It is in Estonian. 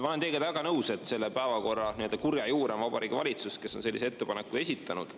Ma olen teiega väga nõus, et selle päevakorra nii-öelda kurja juur on Vabariigi Valitsus, kes on sellise ettepaneku esitanud.